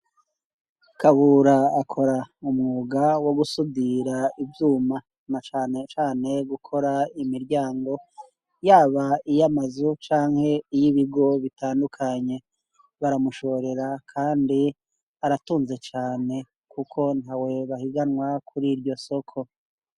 Kabura akora umwuga wo gusudira ivyuma na cane cane gukora imiryango, yaba iy'amazu canke iy'ibigo bitandukanye. Baramushorera kandi aratunze cane, kuko ntawe bahiganwa kuri iryo soko.